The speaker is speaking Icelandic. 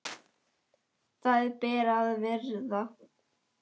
Það ber að virða.